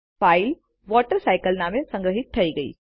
file water cycle નામે સંગ્રહિત થઇ ગઈ